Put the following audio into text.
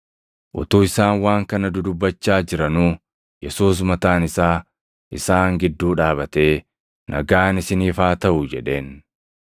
Utuu isaan waan kana dudubbachaa jiranuu, Yesuus mataan isaa isaan gidduu dhaabatee, “Nagaan isiniif haa taʼu” jedheen.